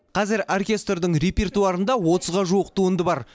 қазір оркестрдің репертуарында отызға жуық туынды бар